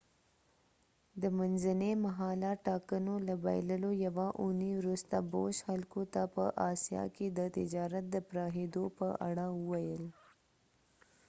د منځني مهاله ټاکنو له بایللو یوه اونۍ وروسته بوش خلکو ته په آسیا کې د تجارت د پراخیدو په اړه وویل